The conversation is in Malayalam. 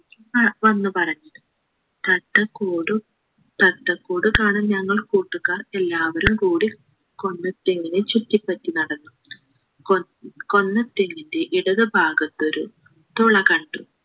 പറ വന്നു പറഞ്ഞു തത്ത കൂടു തത്തക്കൂട് കാണാൻ ഞങ്ങൾ കൂട്ടുകാർ എല്ലാവരും കൂടി കൊന്നത്തെങ്ങിനെ ചുറ്റിപ്പറ്റി നടന്നു കൊ കൊന്ന തെങ്ങിൻ്റെ ഇടതു ഭാഗത്തൊരു തുള കണ്ടു